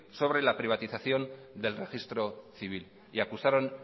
sobre la privatización del registro civil y acusaron